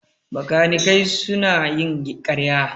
Bakanikai suna yin ƙarya